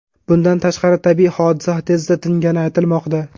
Bundan tashqari, tabiiy hodisa tezda tingani aytilmoqda.